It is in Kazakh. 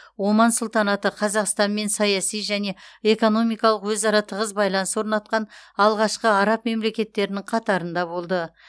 оман сұлтанаты қазақстанмен саяси және экономикалық өзара тығыз байланыс орнатқан алғашқы араб мемлекеттерінің қатарында болды